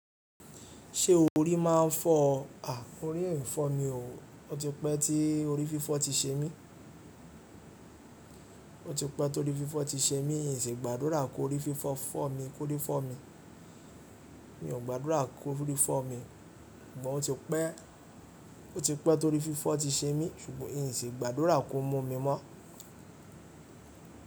Ṣé orí máa ń fọ́ ọ? Àh, orí ò í fọ́ mi o. O ti pẹ́ tí orí fífọ́ ti ṣe mí. O ti pẹ́ tó rí fífọ́ ti ṣe mí, n sì gbàdúrà kó orí fífọ́ fọ́ mi, kó rí fọ́ mi. Mi ò gba àdúrà kó rí fọ́ mi, but o ti pẹ́, o ti pẹ́ tó rí fífọ́ ti ṣe mí ṣùgbọ́n n sì gbàdúrà kó mú mi mọ́